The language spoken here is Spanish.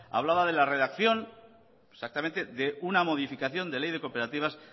hablaba de la redacción exactamente de una modificación de ley de cooperativas